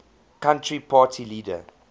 country party leader